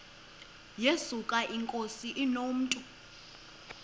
yesuka inkosi inomntu